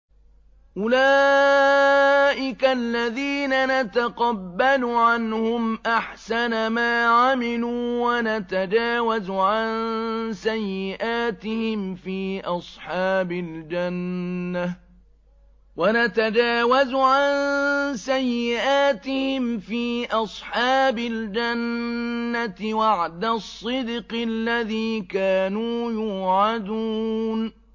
أُولَٰئِكَ الَّذِينَ نَتَقَبَّلُ عَنْهُمْ أَحْسَنَ مَا عَمِلُوا وَنَتَجَاوَزُ عَن سَيِّئَاتِهِمْ فِي أَصْحَابِ الْجَنَّةِ ۖ وَعْدَ الصِّدْقِ الَّذِي كَانُوا يُوعَدُونَ